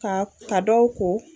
Ka ka dɔw ko